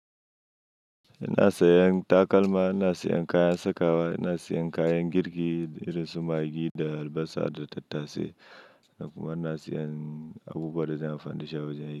Ina sayan takalma, ina sayan kayan sakawa, ina sayan kayan girki irin su maggi da albasa da tattase. Kuma ina sayan abubuwa da zan fadashi a wajen yi.